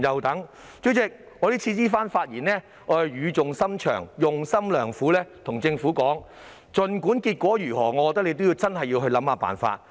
代理主席，我這番發言語重深長、用心良苦，我要告訴政府，無論結果如何，政府真的要去想辦法。